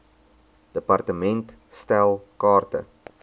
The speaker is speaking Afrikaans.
department stel kaarte